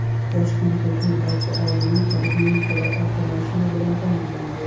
Toshkentdagi barcha oilaviy poliklinikalar avtomashina bilan ta’minlandi.